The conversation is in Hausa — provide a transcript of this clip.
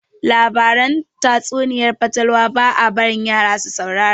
Labaran tatsuniayar fatalwa ba a barin yara su saurara